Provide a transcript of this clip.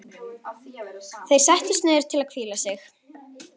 Þeir settust niður til að hvíla sig.